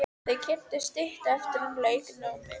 Þau kynntust stuttu eftir að hún lauk námi.